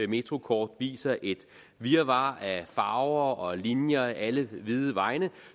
metrokort viser et virvar af farver og linjer alle vide vegne